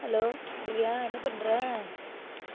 hello Divya என்ன பண்ற